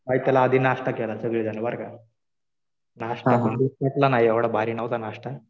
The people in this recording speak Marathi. पायथ्याला आधी नाश्ता केला सगळेजण बरं का. नाश्ता काय ठीक भेटला नाही. एवढा भारी नव्हता नाश्ता.